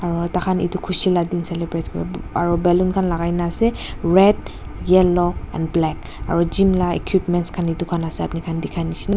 aro taikhan etu khushi la din celebrate kur aro ballon khan lagai na ase red yellow and black aro gym la equipments khan etu khan ase apni khan dekhi neshna.